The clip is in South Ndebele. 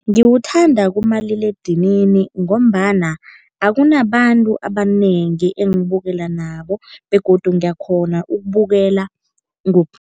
Ngiwuthanda kumaliledinini ngombana akunabantu abanengi engibukela nabo begodu ngiyakghona ukubukela